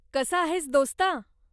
कसा आहेस दोस्ता?